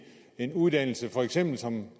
en uddannelse som for eksempel